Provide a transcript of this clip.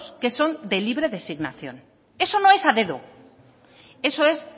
que son de libre designación eso no es a dedo eso es